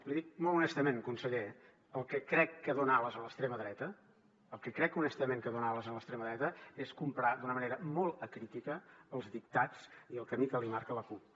l’hi dic molt honestament conseller el que crec que dona ales a l’extrema dreta el que crec honestament que dona ales a l’extrema dreta és comprar d’una manera molt acrítica els dictats i el camí que li marca la cup